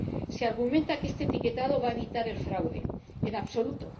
Se argumenta que este etiquetado va a evitar el fraude. En absoluto.